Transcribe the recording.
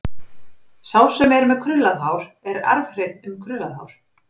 Sá sem er með krullað hár er arfhreinn um krullað hár.